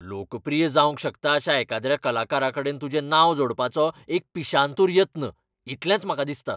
लोकप्रिय जावंक शकता अशा एकाद्र्या कलाकाराकडेन तुजें नांव जोडपाचो एक पिशांतूर यत्न, इतलेंच म्हाका दिसता.